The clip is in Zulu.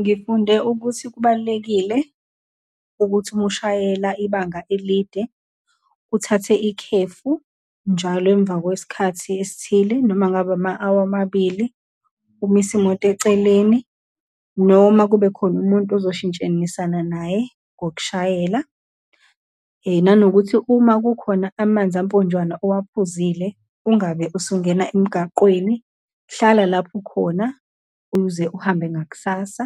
Ngifunde ukuthi kubalulekile ukuthi, uma ushayela ibanga elide, uthathe ikhefu njalo emva kwesikhathi esithile, noma ngabe ama-hour amabili, umise imoto eceleni, noma kubekhona umuntu azoshintshenisana naye ngokushayela, nanokuthi uma kukhona amanzi amponjwana owaphuzile, ungabe usungena emgaqweni, hlala lapho ukhona ukuze uhambe ngakusasa.